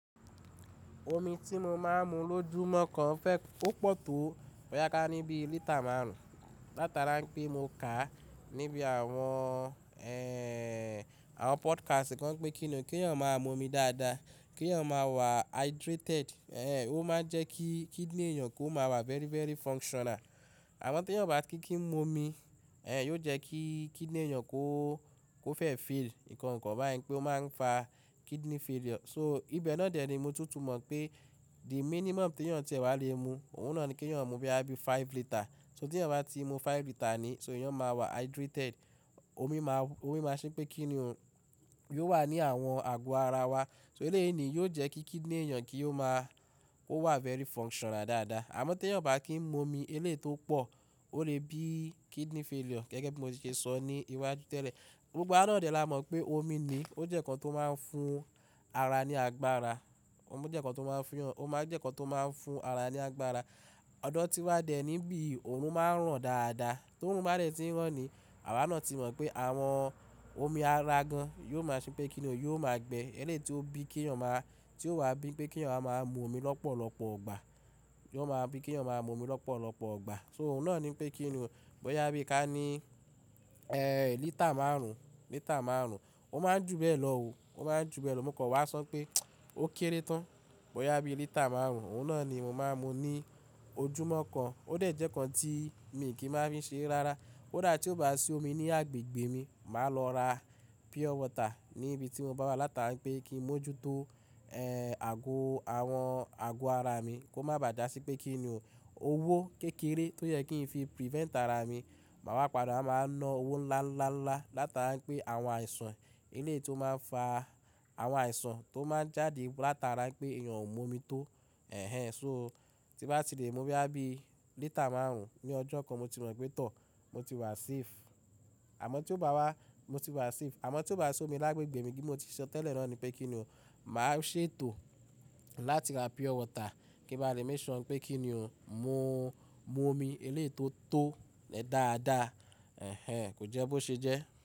Omi tí mo máa ń mu lójúmọ́ kan fẹ́ kó pọ̀ tó bóyá ká níbi lítà márùn-ún. Látara pé mo kàá níbi àwọn, ẹ́ẹ́, àwọn podcast kan pé kíni ó kí èèyàn máa mu omi dáadáa, kí èèyàn máa wà hydrated, ẹ́ẹ́, ó máa ń jẹ́ kí kidney èèyàn kó máa wà very, very functional. Àmọ́ tí èèyàn o bá kí ń mu omi, ẹ́ẹ́, yóò jẹ́ kí kidney èèyàn kó, kó fẹ́ fail, nǹkan kan báyìí pé ó máa ń fà kidney failure. So ibẹ̀ náà dè ni mo tún tù mọ̀ pé the minimum tí èèyàn tì wá lè mu, òun náà ni kí èèyàn mu boyá bí five litre. So tí èèyàn bá ti mu five litre ni, so èèyàn máa wà hydrated. Omi máa, omi máa ṣẹ́ pé kíni o, yóò wà ní àwọn àgò ara wá. So eléyí ni yóò jẹ́ kí kidney èèyàn kí ó máa, ó wà very functional dáadáa. Àmọ́ tí èèyàn o bá kí ń mu omi eléyi tó pọ̀, ó lè bí kidney failure gẹ́gẹ́ bí mo ti ṣe sọ ní iwájú tẹ́lẹ̀. Gbogbo wà náà dè la mọ̀ pé omi ni ó jẹ́ ǹkan tó máa ń fún ara ní agbára. Ómi jẹ́ ǹkan tó máa ń fún èèyàn, ó máa jẹ́ ǹkan tó máa ń fún ara ní agbára. Ọdo tí wá dé níi n bií òòrùn máa ń ràn dáadáa. Tó òòrùn bá dẹ́ ti ń ràn ni, àwa náà ti mọ̀ pé àwọn omi ara gan yóò máa ṣẹ́ pé kíni o, yóò má gbẹ eléyi tó bí i kí èèyàn máa, tí ó wà bíi pé kí èèyàn wá máa mu omi lọ́pọ̀lọpọ̀ ìgbà. Yóò máa wà bíi pé kí èèyàn máa wá mu omi lọ́pọ̀lọpọ̀ ọgbà. So òun náà ni pé kíni o, bóyá bí i ká ní, ẹ́ẹ́, lítà márùn-ún, lítà márùn-ún. Ó máa ń jú bẹ́ẹ̀ lọ òó, ó máa ń jú bẹ́ẹ̀ lọ. Mo kàn wá sọ pé ó kéré tán bóyá bí i lítà márùn-ún. Òun náà ni mo máa ń mu ní ojúmọ́ kan. Ó dẹ̀ jẹ́ ǹkan tí mi kì í máa fi ṣere rárá. Kódà tí ó bá ti sí omi ní agbègbè mi, màá lọ rà pure water ní ibi tí mo bá wá látara pé kí mo jútó, ẹ́ẹ́, àgò àwọn àgò ara mi kó má bà à dà sí pé kíni o, owó kékeré tó yẹ kí ń fi prevent ara mi. Màá wá padà wá máa wá ná owó ńlá, ńlá, ńlá látara pé àwọn àìsàn eléyi tó máa ń fà àwọn àìsàn tó máa ń jáde látara pé èèyàn ò mú omi tó. Ẹ̀ẹ́, so tí bá ti lè mu boyá bí lítà márùn-ún ní ọjọ́ kan, mo ti mọ̀ pé tọ́, mo ti wà safe. Àmọ́ tí ó bá wà, mo ti wà safe. Àmọ́ tí ó bá ti sí omi lágbègbè mi kí mo ti sọ tẹ́lẹ̀ náà ni pé kíni o, màá ṣètò láti rà pure water kí n bá lè make ṣure pé kíni o, mo, mu omi eléyi tó tó dáadáa. Ẹ̀ẹ́, kò jẹ́ bó ṣe jẹ́.